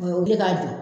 O ye wele k'a jɔ